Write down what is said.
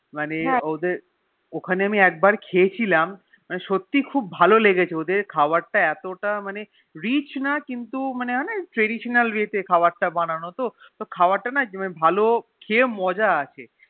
মানে ওদের ওখানে আমি একবার খেয়েছিলাম মানে সত্যি খুব ভালো লেগেছে মানে ওদের খাবার তা এতটা মানে Rich না কিন্তু মানে Traditional way তে খাবার তা বানানো ওহ তো খাবার টানা ভালো খেয়ে মজা আছে